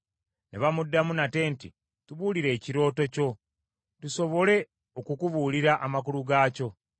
Ne bamuddamu nate nti, “Tubuulire ekirooto kyo, tusobole okukubuulira amakulu gaakyo.”